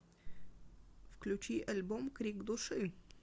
включи альбом крик души